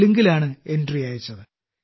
തെലുങ്കിലാണ് entry അയച്ചത്